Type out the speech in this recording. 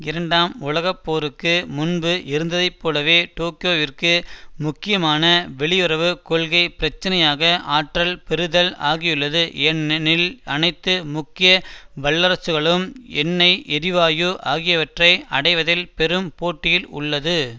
இரண்டாம் உலக போருக்கு முன்பு இருந்ததை போலவே டோக்கியோவிற்கு முக்கியமான வெளியுறவு கொள்கை பிரச்சினையாக ஆற்றல் பெறுதல் ஆகியுள்ளது ஏனெனில் அனைத்து முக்கிய வல்லரசுகளும் எண்ணெய் எரிவாயு ஆகியவற்றை அடைவதில் பெரும் போட்டியில் உள்ளது